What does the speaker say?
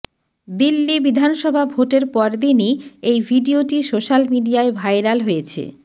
দিল্লি বিধানসভা ভোটের পরদিনই এই ভিডিয়োটি সোশ্যাল মিডিয়ায় ভাইরাল হয়েছে